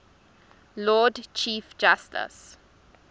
lord chief justice